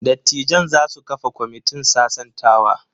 Dattijan za su kafa kwamitin sasantawa.